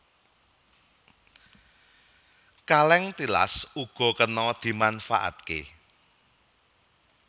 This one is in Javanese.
Kalèng tilas uga kena dimanfaatké